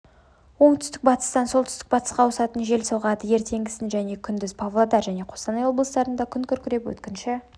оңтүстік-батыстан солтүстік-батысқа ауысатын жел соғады ертеңгісін және күндіз павлодар және қостанай облыстарында күн күркіреп өткінші